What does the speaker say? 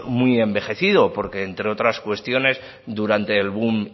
muy envejecido porque entre otras cuestiones durante el boom